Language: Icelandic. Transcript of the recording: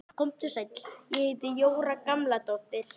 Komdu sæll, ég heiti Jóra Gamladóttir